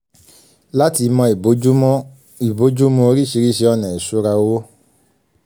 láti mọ ìbójúmu orísirísi ọ̀nà ìṣura owó.